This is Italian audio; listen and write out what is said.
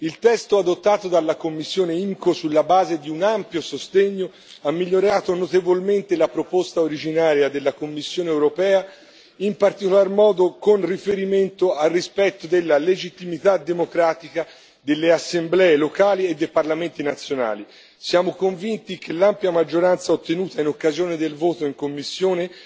Il testo adottato dalla commissione IMCO sulla base di un ampio sostegno ha migliorato notevolmente la proposta originaria della Commissione europea, in particolar modo con riferimento al rispetto della legittimità democratica delle assemblee locali e dei parlamenti nazionali. Siamo convinti che l'ampia maggioranza ottenuta in occasione del voto in commissione